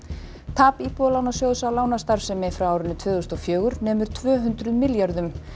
tap Íbúðalánajóðs á lánastarfsemi frá tvö þúsund og fjögur nemur tvö hundruð milljörðum